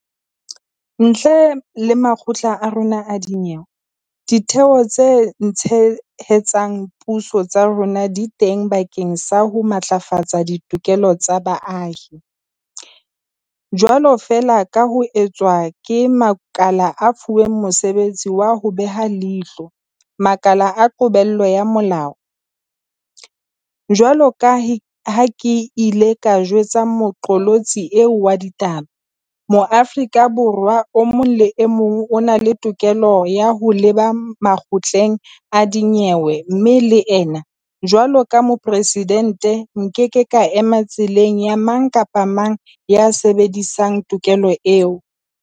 Ntle le makgotla a rona a dinyewe, Ditheo tse Tshehetsang Puso tsa rona di teng bakeng sa ho matlafatsa ditokelo tsa baahi, jwalo feela ka ha ho etswa ke makala a fuweng mosebetsi wa ho beha leihlo makala a qobello ya molao. Jwaloka ha ke ile ka jwetsa moqolotsi eo wa ditaba, Moa-frika Borwa e mong le e mong o na le tokelo ya ho leba makgotleng a dinyewe mme le nna, jwaloka Moporesidente, nkeke ka ema tseleng ya mang kapa mang ya sebedisang tokelo eo.